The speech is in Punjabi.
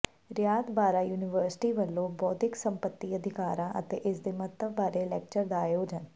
ਰਿਆਤ ਬਾਹਰਾ ਯੂਨੀਵਰਸਿਟੀ ਵੱਲੋਂ ਬੌਧਿਕ ਸੰਪੱਤੀ ਅਧਿਕਾਰਾਂ ਅਤੇ ਇਸਦੇ ਮਹੱਤਵ ਬਾਰੇ ਲੈਕਚਰ ਦਾ ਆਯੋਜਨ